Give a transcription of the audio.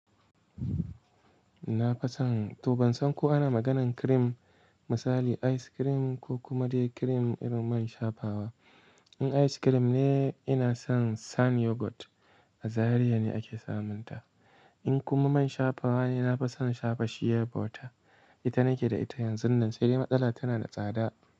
Nafi son, to ban san ko ana maganan cream, misali ice cream ko kuma dai cream irin man shafawa. In ice cream ne, ina son San Yogurt, a Zariya ne ake samun ta. In kuma man shafawa ne, na fi son shafa Shea butter. Ita nake da ita yanzun nan, sai dai matsala tana da tsada.